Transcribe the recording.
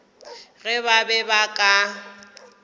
ge ba be ba ka